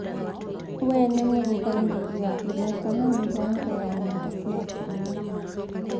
we ni mũrũgamĩrĩri wa ihoto na mĩbango ya nenda cia atumia